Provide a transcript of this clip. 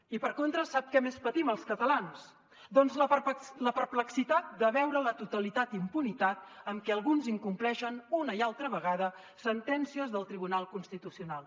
i per contra sap què més patim els catalans doncs la perplexitat de veure la total impunitat amb què alguns incompleixen una i altra vegada sentències del tribunal constitucional